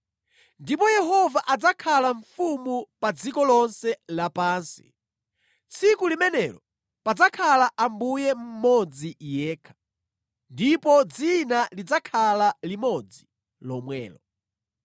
Ndipo Yehova adzakhala mfumu pa dziko lonse lapansi. Tsiku limenelo padzakhala Ambuye mmodzi yekha, ndipo dzina lidzakhala limodzi lomwelo.